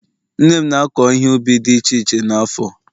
nne m na-akọ ihe ubi dị iche iche n'afo